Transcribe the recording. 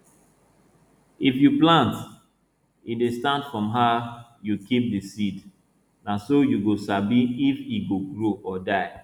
if you plant e dey start from how you keep di seed na so you go sabi if e go grow or die